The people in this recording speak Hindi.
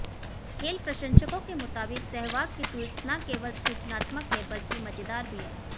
खेल प्रशंसकों के मुताबिक सहवाग की ट्वीट्स न केवल सूचनात्मक हैं बल्कि मजेदार भी है